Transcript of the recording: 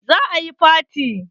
Za a yi faty.